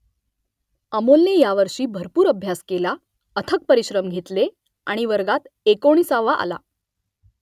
अमोलने यावर्षी भरपूर अभ्यास केला अथक परिश्रम घेतले आणि वर्गात एकोणिसावा आला